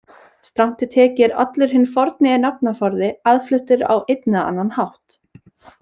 Strangt til tekið er allur hinn forni nafnaforði aðfluttur á einn eða annan hátt.